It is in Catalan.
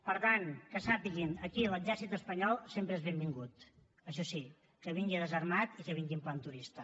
per tant que sàpiguen aquí l’exèrcit espanyol sempre és benvingut això sí que vingui desarmat i que vingui en plan turista